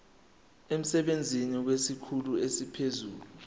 emsebenzini kwesikhulu esiphezulu